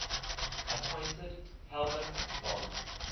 appointed helmuth von